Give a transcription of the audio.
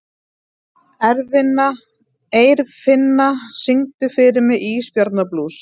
Eirfinna, syngdu fyrir mig „Ísbjarnarblús“.